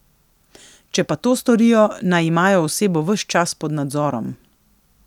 Če pa to storijo, naj imajo osebo ves čas pod nadzorom.